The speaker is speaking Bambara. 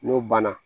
N'o banna